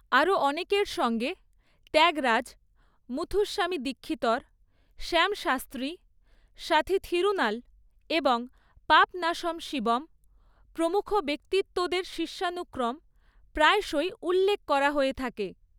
আরও অনেকের সঙ্গে ত্যাগরাজ, মুথুস্বামী দীক্ষিতর, শ্যাম শাস্ত্রী, স্বাথী থিরুনাল এবং পাপনাশম শিবন প্রমুখ ব্যক্তিত্বদের শিষ্যানুক্রম প্রায়শই উল্লেখ করা হয়ে থাকে।